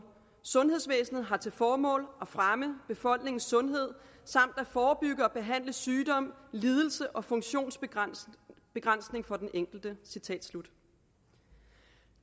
sundhedsvæsenet har til formål at fremme befolkningens sundhed samt at forebygge og behandle sygdom lidelse og funktionsbegrænsning for den enkelte citat slut